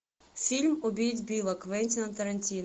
фильм убить билла квентина тарантино